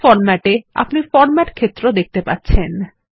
page format এ আপনি format ক্ষেত্র দেখতে পাচ্ছেন